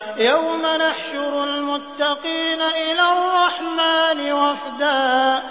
يَوْمَ نَحْشُرُ الْمُتَّقِينَ إِلَى الرَّحْمَٰنِ وَفْدًا